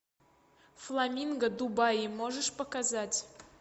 фламинго дубаи можешь показать